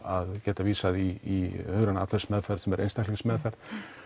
að geta vísað í hugræna atferlismeðferð sem er einstaklingsmeðferð